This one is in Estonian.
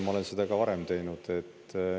Ma olen seda ka varem teinud.